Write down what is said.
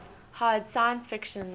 hard science fiction